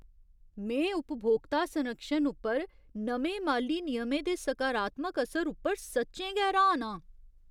में उपभोक्ता संरक्षण उप्पर नमें माली नियमें दे सकारात्मक असर उप्पर सच्चें गै र्हान आं।